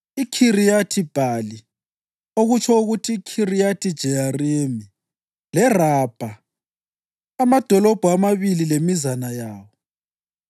IKhiriyathi-Bhali (okutsho ukuthi iKhiriyathi-Jeyarimi) leRabha, amadolobho amabili lemizana yawo.